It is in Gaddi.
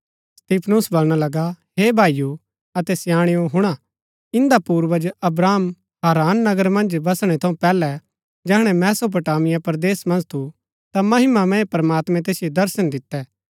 स्तिफनुस बलणा लगा हे भाईओ अतै स्याणेओ हुणा इन्दा पूर्वज अब्राहम हारान नगर मन्ज बसणै थऊँ पैहलै जैहणै मेसोपोटामिया परदेस मन्ज थू ता महिमामय प्रमात्मैं तैसिओ दर्शन दितै